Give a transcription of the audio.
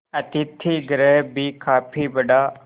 अतिथिगृह भी काफी बड़ा